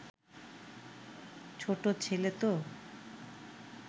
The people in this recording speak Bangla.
ছোট ছেলে তো